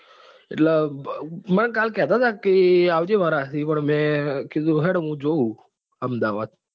એટલે મને કાલ કેતા તા હતા કે આવજે મમાર સાથે અમદાવાદ પણ મેં કીધું કે હેડો મુ જોવું અમદાવાદ.